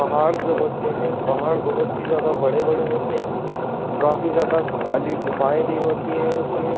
पहाड़ जो होते हैं। पहाड़ बहोत ही ज्यादा बड़े-बड़े होते हैं। काफी ज्यादा खाली गुफाएँ भी होती हैं इसमें।